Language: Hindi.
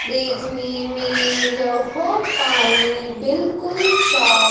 देखने में यह पानी बिल्कुल साफ--